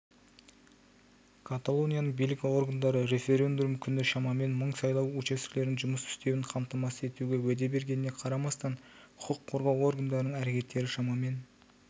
каталонияның билік органдары референдум күні шамамен мың сайлау учаскелерінің жұмыс істеуін қамтамасыз етуге уәде бергеніне қарамастан құқық қорғау органдарының әрекеттері шамамен